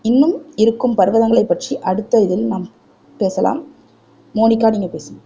இன்னும் இருக்கும் பர்வகங்களை பற்றி அடுத்த இதழில் நாம் பேசலாம் மோனிகா நீங்க பேசுங்க